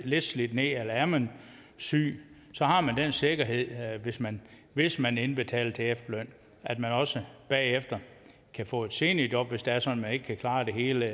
lidt slidt ned eller er man syg har man den sikkerhed hvis man hvis man indbetaler til efterløn at man også bagefter kan få et seniorjob hvis det er sådan man ikke kan klare det hele